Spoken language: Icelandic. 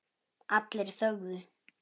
Allir þögðu.